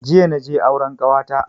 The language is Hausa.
Jiya naje auren kawata